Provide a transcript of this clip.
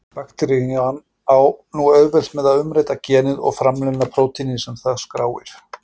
Bakterían á nú auðvelt með að umrita genið og framleiða prótínið sem það skráir.